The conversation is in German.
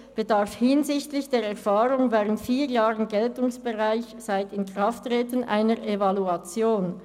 bedarf hinsichtlich der Erfahrung vier Jahren nach Inkrafttreten einer Evaluation.